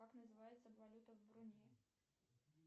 как называется валюта в брунее